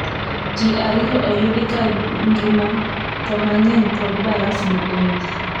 ji ariyo oyudi kangima too mang'eny pod barafno oiko